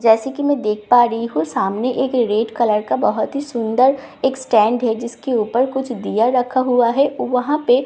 जैसे कि मैं देख पा रही हूं सामने एक रेड कलर का बहुत ही सुंदर एक स्टैंड है जिसके ऊपर कुछ दिया रखा हुआ है वहां पे --